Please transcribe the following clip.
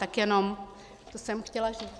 Tak jenom to jsem chtěla říct.